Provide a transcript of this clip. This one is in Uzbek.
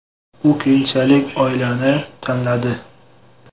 U keyinchalik oilani tanladi.